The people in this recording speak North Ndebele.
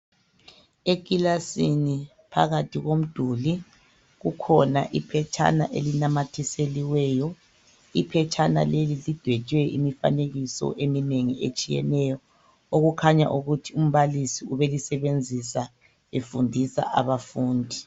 Ekilasini phakathi komduli kukhona iphetshana elinamathiseliweyo. Iphetshana leli lidwetshwe imifanekiso eminengi etshiyeneyo, okukhanya ukuthi umbalisi ubelisebenzisa efundisa abafundi.